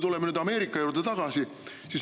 Tuleme nüüd Ameerika juurde tagasi.